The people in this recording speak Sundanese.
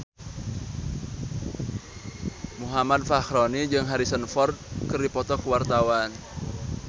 Muhammad Fachroni jeung Harrison Ford keur dipoto ku wartawan